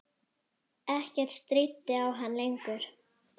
Ekkert stríddi á hann lengur.